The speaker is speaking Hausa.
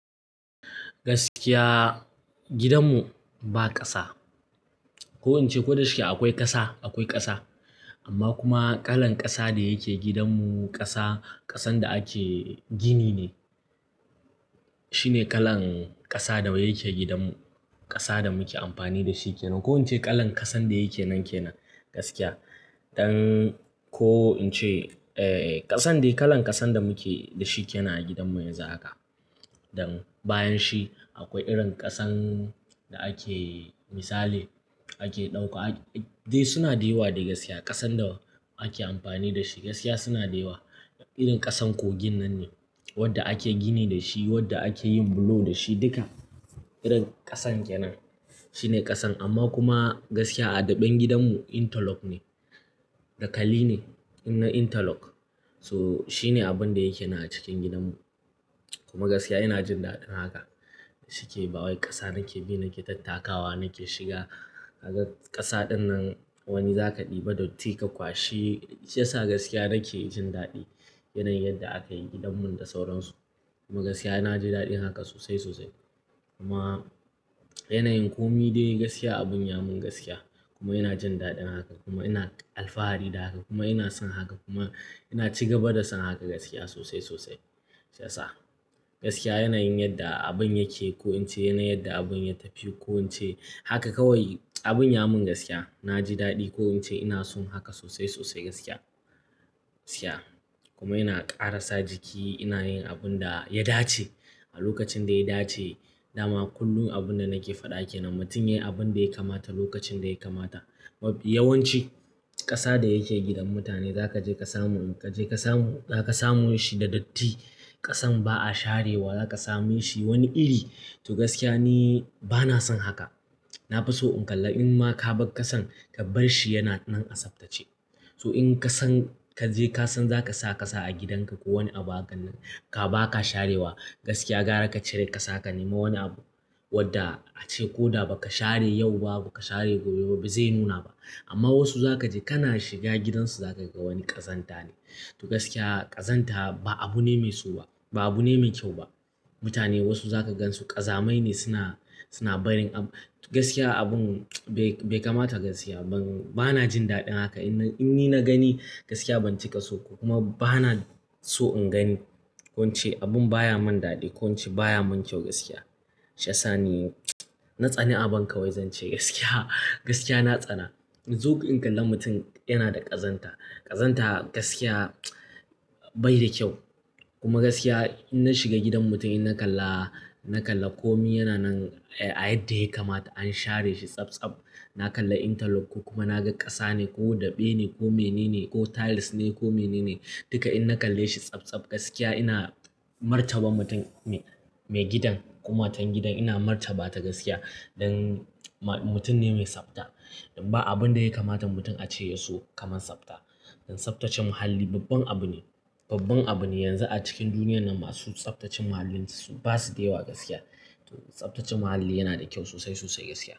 Gaskiya gidanmu ba ƙasa. Ko in ce ko da yaushe akwai ƙasa, akwai ƙasa. Amma kuma kalan ƙasa da yake gidanmu ƙasa, ƙasan da ake gini ne. Shine kalan ƙasa da yake gidanmu. Ƙasa da muke amfani da shi ke nan. Ko in ce kalan ƙasan da yake nan ke nan gaskiya. Don ko in ce, eh, ƙasan da kalan ƙasan da muke da shi ke nan a gidanmu yanzu haka. Don bayan shi akwai irin ƙasan da ake misali ake ɗauka, dai suna da yawa dai gaskiya ƙasan da ake amfani da shi gaskiya suna da yawa. Irin ƙasan kogin nan ne wadda ake gini da shi, wadda ake yin bulo da shi duka. Irin ƙasan ke nan shine ƙasan. Amma kuma gaskiya a daɓen gidanmu interlock ne, dakali ne na interlock. So shine abin da yake nan a cikin gidanmu. Kuma gaskiya ina jin daɗin haka shike. Bawai ƙasa nake bi, nake tattakawa, nake shiga. Haka ƙasa ɗin nan wani za ka ɗiba da datti ka kwashi. Shiyasa gaskiya nake jin daɗi yanayin yadda aka yi gidanmu da sauransu. Kuma gaskiya na jin daɗin haka sosai sosai. Kuma yana yin komi dai gaskiya a bun yamin gaskiya kuma ina jin daɗin haka kuma ina alfahari da haka kuma ina son haka kuma ina ci gaba da son haka gaskiya sosai sosai. Ya sa gaskiya yanayin yadda abun yake ko in ce yanayin yadda abun ya tafi ko in ce haka kawai abun yamin gaskiya na ji daɗi ko in ce ina son haka sosai sosai gaskiya. Gaskiya kuma ina ƙarasa jiki ina yin abun da ya dace a lokacin da ya dace. Dama kullum abun da nake faɗa kenan. Mutum yayi abun da ya kamata lokacin da ya kamata. Yawan ci ƙasa da yake gidan mutane za ka je ka samu, ka je ka samu, za ka samu shi da datti. Ƙasan ba a sharewa za ka sami shi wani iri. To gaskiya ni bana son haka. Na fi so in kalla in ma ka bar ƙasan ka bar shi yana nan a tsaftace. So in ka san ka je ka san za ka sa ƙasa a gidanka ko wani abu hakan baka sharewa gaskiya gara ka cire ƙasa ka nema wani abu wadda a ce ko da ba ka share yau ba, ba ka share gobe ba zai nuna ba. Amma wasu za ka je kana shiga gidansu za ka ga wani ƙazanta ne. To gaskiya ƙazanta ba abu ne mai so ba, ba abu ne mai kyau ba. Mutane wasu za ka gan su ƙazamai ne suna, suna barin abu. Gaskiya abin bai kamata gaskiya. Ban, bana jin daɗin haka. In ni na gani gaskiya ban ci kaso ba kuma bana so in gani. Ko in ce abun baya mun daɗi ko in ce baya mun kyau gaskiya. Ya sa ni na tsani aban kawai zan ce gaskiya. Gaskiya na tsana. Zo ka kalla mutum yana da ƙazanta. Ƙazanta gaskiya bai da kyau. Kuma gaskiya in na shiga gidan mutum in na kalla, na kalla komi yana nan a yadda yake kamata an share shi tsab tsab. Na kalla interlock kuma na ga ƙasa ne ko daɓe ne ko mene ne ko tiles ne ko mene ne duka in na kalle shi tsabtsab gaskiya ina martaba mutum mai gidan ko matan gidan ina martaba ta gaskiya. Don mutum ne mai tsafta. Don ba abun da ya kamata mutum a ce ya so kamar tsafta. Don tsaftace muhalli babban abu ne. Babban abu ne yanzu a cikin duniyar nan masu tsaftace muhalli ba su da yawa gaskiya. Don tsaftace muhalli yana da kyau sosai sosai gaskiya.